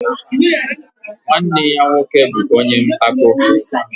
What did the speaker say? Nwanne ya nwoke bụ ọnye mpako